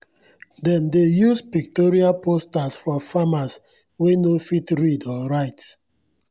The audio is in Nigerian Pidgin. dem dey use pictorial posters for farmers wey no fit read or write.